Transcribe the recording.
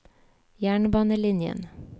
jernbanelinjen